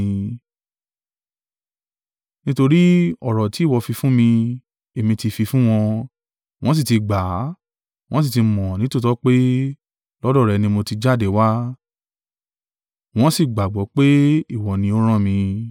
Nítorí ọ̀rọ̀ tí ìwọ fi fún mi, èmi ti fi fún wọn, wọ́n sì ti gbà á, wọ́n sì ti mọ̀ nítòótọ́ pé, lọ́dọ̀ rẹ ni mo ti jáde wá, wọ́n sì gbàgbọ́ pé ìwọ ni ó rán mi.